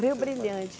Rio Brilhante.